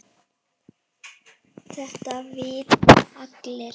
Þetta vita allir.